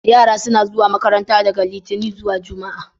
Yara suna zuwa makaranta daga Litinin zuwa jumma'a.